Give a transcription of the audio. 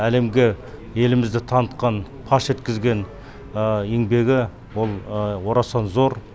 әлемге елімізді танытқан паш еткізген еңбегі ол орасан зор